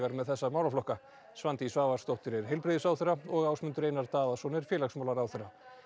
með þessa málaflokka Svandís Svavarsdóttir er heilbrigðisráðherra og Ásmundur Einar Daðason er félagsmálaráðherra